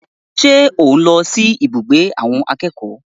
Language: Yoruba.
Ṣé ò ń lọ sí abùgbé àwọn akẹ́kọ̀ọ́?